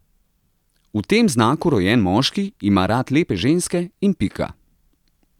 V tem znaku rojen moški ima rad lepe ženske in pika.